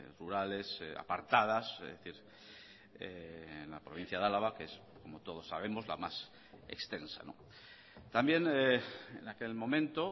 rurales apartadas es decir en la provincia de álava que es como todos sabemos la más extensa también en aquel momento